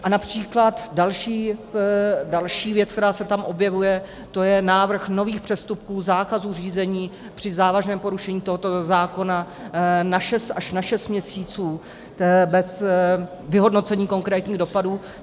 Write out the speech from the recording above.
A například další věc, která se tam objevuje, to je návrh nových přestupků, zákazů řízení při závažném porušení tohoto zákona až na šest měsíců bez vyhodnocení konkrétních dopadů.